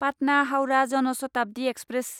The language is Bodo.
पाटना हाउरा जन शताब्दि एक्सप्रेस